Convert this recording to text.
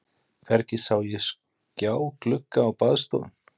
Hvergi sá ég skjáglugga á baðstofum.